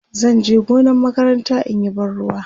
zanje gonar makaranta inyi ban ruwa